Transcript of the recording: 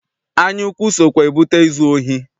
Anyaukwu sokwa ebute izu ohi.